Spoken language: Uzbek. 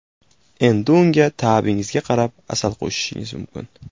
Endi unga ta’bingizga qarab asal qo‘shishingiz mumkin.